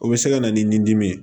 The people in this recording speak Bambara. O bɛ se ka na ni dimi ye